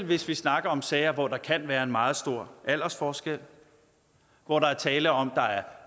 hvis vi snakker om sager hvor der kan være en meget stor aldersforskel hvor der er tale om at